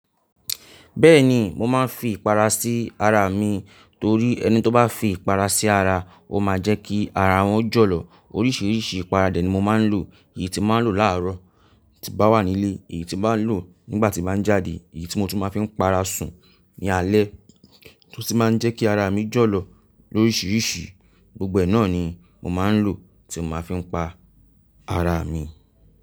Bẹ́ẹ̀ni, mo máa ń fi ìpara sí ara mi torí ẹni tó bá fi ìpara sí ara, ó máa jẹ́ kí ara wọn jọ̀lọ̀. Oríṣiríṣi ìpara de ni mo máa ń lò. Èyí tí máa ń lò láàárọ̀ tí bá wà nílé, èyí tí máa ń lò nígbà tí bá ń jáde, èyí tí mo tún máa ń fi ń para sùn ní alẹ́ tó sì máa ń jẹ́ kí ara mi jọ̀lọ̀ lóríṣiríṣi. Gbogbo ẹ náà ni mo máa ń lò tí mo bá fi ń pa ara mi.